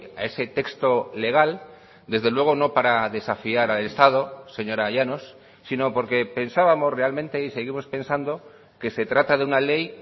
a ese texto legal desde luego no para desafiar al estado señora llanos sino porque pensábamos realmente y seguimos pensando que se trata de una ley